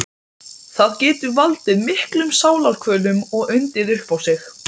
Umrenningur sem neitað er um húsaskjól.